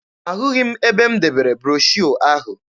Ahụghị m ebe m debere broshuọ ahụ.